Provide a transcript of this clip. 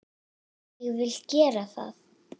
Vil ég gera það?